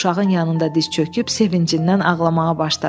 Uşağın yanında diz çöküb sevincindən ağlamağa başladı.